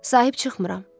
Sahib çıxmıram.